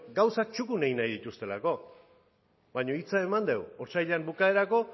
gauzak txukun egin nahi dituztelako baina hitza eman dugu otsailaren bukaerarako